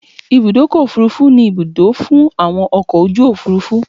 Ibùdọ́kọ̀ òfurufú ni Ibùdó fún àwọn ọkọ̀ ojú òfúrufú